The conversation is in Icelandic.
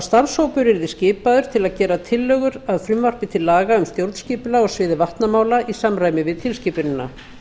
starfshópur yrði skipaður til að gera tillögur að frumvarpi til laga um stjórnskipulag á sviði vatnamála í samræmi við tilskipunina